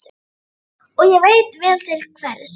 Og ég veit vel til hvers.